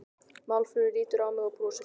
Málfríður lítur á mig og brosir.